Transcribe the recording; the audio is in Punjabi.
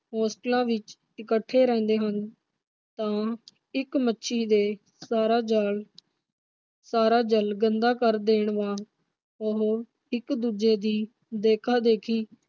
ਹੋਸਟਲਾਂ ਵਿਚ ਇਕੱਠੇ ਰਹਿੰਦੇ ਹਨ ਤਾਂ ਇਕ ਮੱਛੀ ਦੇ ਸਾਰਾ ਜਾਲ ਸਾਰਾ ਜਲ ਗੰਦਾ ਕਰ ਦੇਣ ਵਾ ਉਹ ਇਕ ਦੂਜੇ ਦੀ ਦੇਖਾਦੇਖੀ